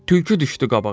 Tülkü düşdü qabağa.